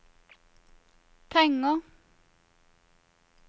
penger